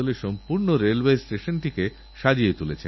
প্রধানমন্ত্রীজী আমি ব্যাঙ্গালোর থেকে শিল্পী বর্মা বলছি